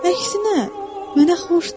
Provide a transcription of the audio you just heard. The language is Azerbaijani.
Əksinə, mənə xoşdur.